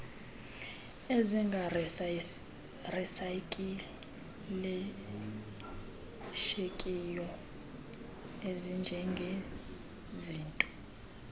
ezingarisay ikilishekiyo ezinjengezinto